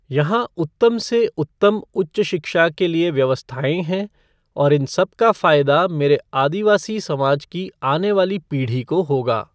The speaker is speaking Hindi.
यहां उत्तम से उत्तम उच्च शिक्षा के लिए व्यवस्थाएँ हैं, और इन सबका फायदा मेरे आदिवासी समाज की आनेवाली पीढ़ी को होगा।